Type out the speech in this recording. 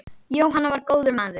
Jóhann var góður maður.